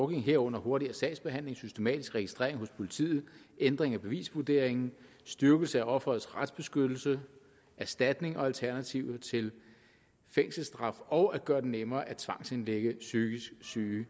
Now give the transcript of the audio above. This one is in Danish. herunder hurtigere sagsbehandling systematisk registrering hos politiet ændring af bevisvurderingen styrkelse af offerets retsbeskyttelse erstatning og alternativer til fængselsstraf og at gøre det nemmere at tvangsindlægge psykisk syge